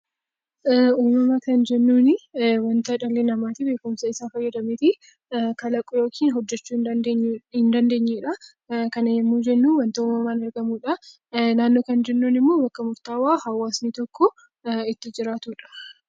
Uumama kan jennuuni waanta dhalli namaa beekumsa isaa fayyadameetii kalaquu yookiin hojjechuu hin dandeenye dha. Kana yommuu jennu waanta uumamaan argamudha. Naannoo kan jennuun immoo bakka murtaawaa hawaasni tokko itti jiraatudha.